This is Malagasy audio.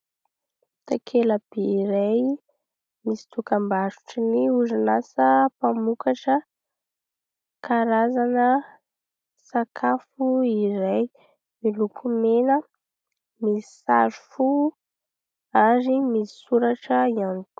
Takela-by iray misy dokambarotry ny orinasa mpamokatra karazana sakafo iray, miloko mena misy saro fo ary misy soratra ihany koa.